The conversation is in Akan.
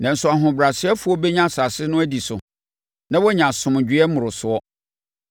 Nanso ahobrɛasefoɔ bɛnya asase no adi so na wɔanya asomdwoeɛ mmorosoɔ.